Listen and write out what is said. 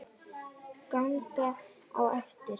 Ganga á eftir.